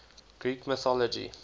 greek mythology